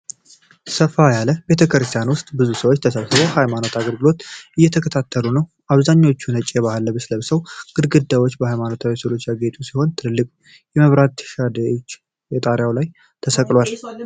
ሰፋ ያለ ቤተክርስቲያን ውስጥ ብዙ ሰዎች ተሰብስበው የሃይማኖት አገልግሎት እየተከታተሉ ነው። አብዛኛዎቹ ነጭ የባህል ልብስ ለብሰዋል። ግድግዳዎቹ በሃይማኖታዊ ሥዕሎች ያጌጡ ሲሆን ትልቅ የመብራት ሻንደልል ከጣሪያው ላይ ተሰቅሏል።